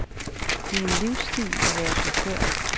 Det er en livsstil at være chauffør.